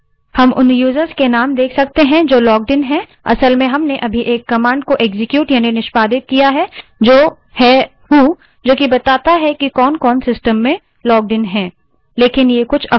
हम logged इन users के name देख सकते हैं वास्तव में हमने अभी एक command को एक्सक्यूट यानि निष्पादित किया है जो है who जो कि बताती है कि कौनकौन system में logged इन हैं